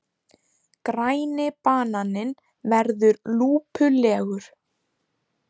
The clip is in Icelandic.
Græni bananinn verður lúpulegur.